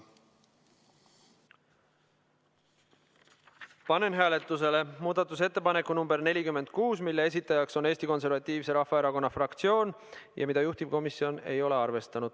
Panen hääletusele muudatusettepaneku nr 46, mille on esitanud Eesti Konservatiivse Rahvaerakonna fraktsioon ja mida juhtivkomisjon ei ole arvestanud.